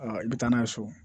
i bɛ taa n'a ye so